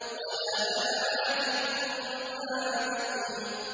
وَلَا أَنَا عَابِدٌ مَّا عَبَدتُّمْ